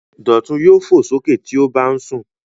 Dọ̀tun yóò fò sókè tí ó bá ń sùn.